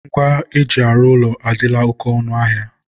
ngwa e ji arụ ụlọ adịla oke ọnụ ahịa.